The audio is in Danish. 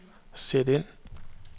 sæt ind